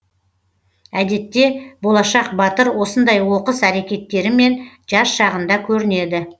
әдетте болашақ батыр осындай оқыс әрекеттерімен жас шағында көрінеді